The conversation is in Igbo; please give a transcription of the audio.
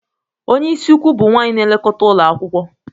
Onye isi ukwu bụ nwanyị na-elekọta ụlọ akwụkwọ.